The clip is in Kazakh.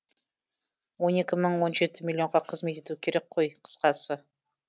он екі мың он жеті миллионға қызмет етуі керек ғой қысқасы